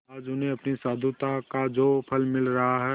आज उन्हें अपनी साधुता का जो फल मिल रहा है